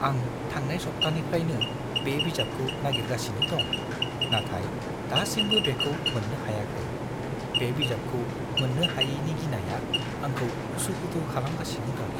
आं थांनाय सब्थानिफ्रायनो बे बिजाबखौ नागिरगासिनो दं, नाथाय दासिमबो बेखौ मोन्नो हायाखै। बे बिजाबखौ मोननो हायैनि गिनाया आंखौ उसु-खुथु खालामगासिनो दं।